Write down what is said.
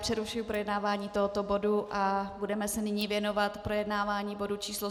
Přerušuji projednávání tohoto bodu a budeme se nyní věnovat projednávání bodu číslo